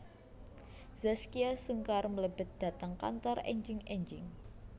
Zaskia Sungkar mlebet dhateng kantor enjing enjing